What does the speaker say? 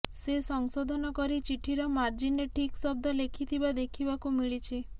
ସେ ସଂଶେଧନ କରି ଚିଠିର ମାର୍ଜିନରେ ଠିକ୍ ଶବ୍ଦ ଲେଖିଥିବା ଦେଖିବାକୁ ମିଳିଛି